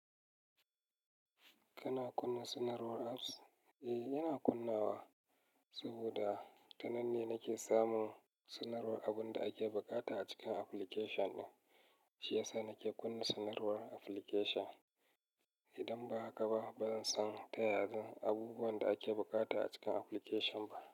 Kana kunna sanarwar apps? Eh, ina kunnawa saboda tanan ne nake samun sanarwar abun da ake buƙata a cikin application ɗin. Shi ya sa nake kunna sanarwar application. Idan ba haka ba, bazan san ta yanzu abubuwan da ake bukata a cikin application ba.